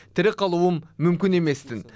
тірі қалуым мүмкін еместін